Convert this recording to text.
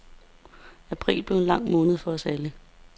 April blev en lang måned for os alle.